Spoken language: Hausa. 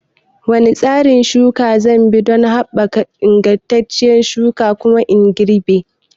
Wane tsarin shuka zanbi don haɓaka ingantacciyar shuka da kuma girbi?